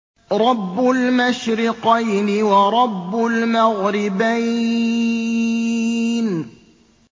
رَبُّ الْمَشْرِقَيْنِ وَرَبُّ الْمَغْرِبَيْنِ